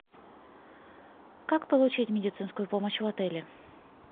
как получить медицинскую помощь в отеле